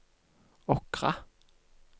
Åkra